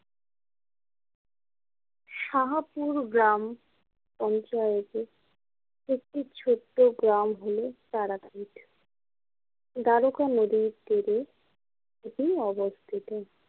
সাহাপুর গ্রাম পঞ্চায়েতে একটি ছোট্ট গ্রাম হল তারাপীঠ দ্বারকা নদীর তীরে এটি অবস্থিত।